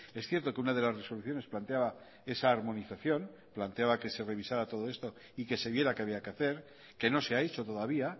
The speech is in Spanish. es cierto que una de las resoluciones planteaba esa harmonización planteaba que se revisara todo esto y que se viera qué había que hacer que no se ha hecho todavía